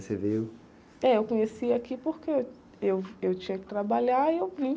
Você veio... É, eu conheci aqui porque eu, eu tinha que trabalhar e eu vim.